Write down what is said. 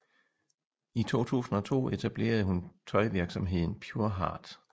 I 2002 etablerede hun tøjvirksomheden Pureheart